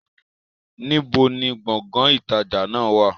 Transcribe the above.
Níbo ni Gbọ̀ngán ìtajà náà wá?